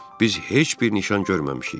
Biz heç bir nişan görməmişik.